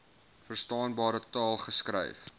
verstaanbare taal geskryf